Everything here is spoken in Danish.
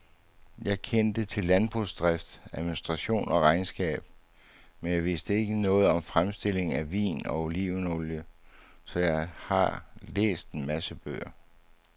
Jeg kendte til landbrugsdrift, administration og regnskab, men jeg vidste ikke noget om fremstilling af vin og olivenolie, så jeg har læst en masse bøger.